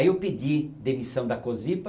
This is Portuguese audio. Aí eu pedi demissão da Cosipa,